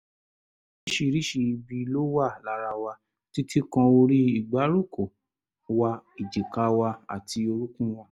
oríṣiríṣi ibi ló wà lára wa títí kan orí ìgbáròkó wa èjìká wa àti orúnkún wa